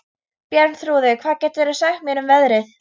Bjarnþrúður, hvað geturðu sagt mér um veðrið?